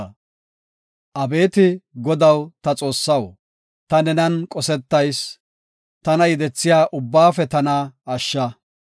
Abeeti Godaw ta Xoossaw, ta nenan qosetayis; tana yedethiya ubbaafe tana ashsha.